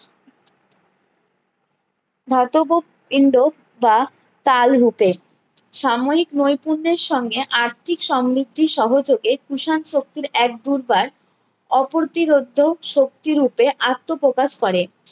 ধাতব ইন্দ্র বা তাল রূপে সাময়িক নৈকুঞ্জের সঙ্গে আর্থিক সম্মৃদ্ধি সহযোগে কুষাণ শক্তির এক বুধবার অপরটির শক্তি রুপে আত্মপ্রকাশ করে